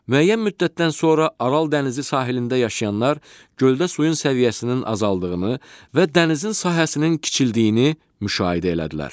Müəyyən müddətdən sonra Aral dənizi sahilində yaşayanlar göldə suyun səviyyəsinin azaldığını və dənizin sahəsinin kiçildiyini müşahidə elədilər.